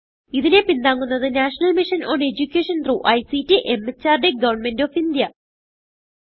ഇതിനെ പിന്താങ്ങുന്നത് National Mission on Education through ICT MHRD Government of India